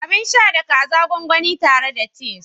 Abin sha da kaza gwangwani tare da chise